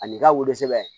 Ani ka wolosɛbɛn